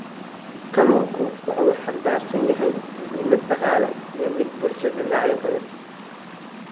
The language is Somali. Kalluunku waxa uu xambaarsan yahay muhiimad dhaqaale iyo mid bulsho dhinacyo badan.